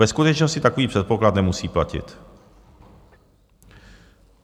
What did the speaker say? Ve skutečnosti takový předpoklad nemusí platit.